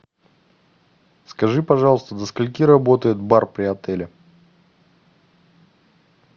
скажи пожалуйста до скольки работает бар при отеле